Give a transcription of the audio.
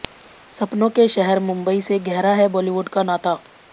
सपनों के शहर मुम्बई से गहरा है बॉलीवुड का नाता